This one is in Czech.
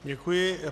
Děkuji.